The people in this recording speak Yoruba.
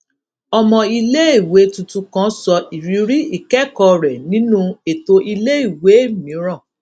ọmọ iléèwé tuntun kan sọ ìrírí ìkékòó rè nínú ètò iléèwé mìíràn